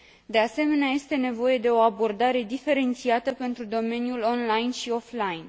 De asemenea, este nevoie de o abordare diferențiată pentru domeniul online și cel offline.